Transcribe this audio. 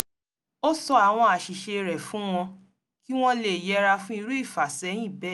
ó sọ àwọn àṣìṣe rẹ̀ fún wọn kí wọ̣́n lè yẹra fún irú ìfàsẹyìn bẹ́ẹ̀